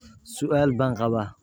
su'aal baan qabaa